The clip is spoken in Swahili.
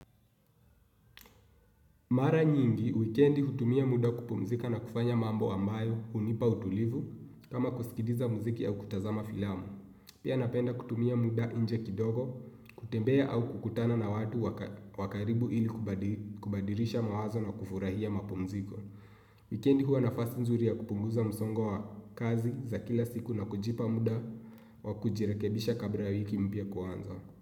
Mara nyingi, wikendi hutumia muda kupumzika na kufanya mambo ambayo hunipa utulivu, kama kusikiliza muziki au kutazama filamu. Pia napenda kutumia muda inje kidogo, kutembea au kukutana na watu wakaribu ili kubadilisha mawazo na kufurahia mapumziko. Wikendi huwa nafasi nzuri ya kupunguza msongo wa kazi za kila siku na kujipa muda wa kujirekebisha kabla wiki mpya kuanza.